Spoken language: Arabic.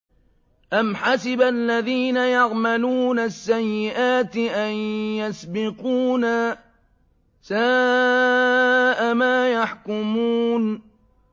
أَمْ حَسِبَ الَّذِينَ يَعْمَلُونَ السَّيِّئَاتِ أَن يَسْبِقُونَا ۚ سَاءَ مَا يَحْكُمُونَ